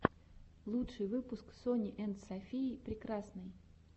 лучший выпуск сони энд софии прекрасной